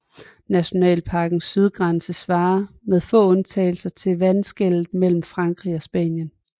Nationalparkens sydgrænse svarer med få undtagelser til vandskellet mellem Frankrig og Spanien